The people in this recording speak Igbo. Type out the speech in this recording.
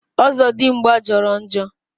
Ọzọdimgbà jọrọ njọ